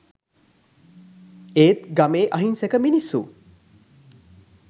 ඒත් ගමේ අහිංසක මිනිස්සු